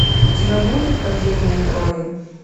у тебя будет падение трои